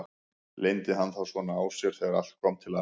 Leyndi hann þá svona á sér þegar allt kom til alls?